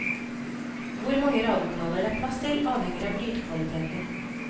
Hvor mange radiokanaler det er plass til avhenger av lydkvaliteten.